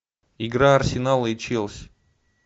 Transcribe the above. игра арсенала и челси